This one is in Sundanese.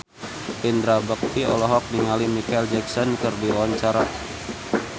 Indra Bekti olohok ningali Micheal Jackson keur diwawancara